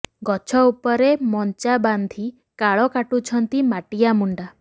ଗଛ ଉପରେ ମଞ୍ଚା ବାନ୍ଧି କାଳ କାଟୁଛନ୍ତି ମାଟିଆ ମୁଣ୍ଡା